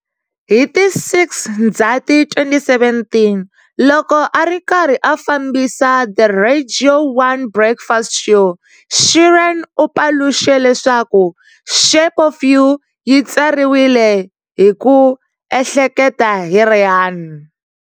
Hi ti 6 Ndzhati 2017, loko a ri karhi a fambisa"The Radio 1 Breakfast Show", Sheeran u paluxe leswaku"Shape of You" yi tsariwile hi ku ehleketa hi Rihanna.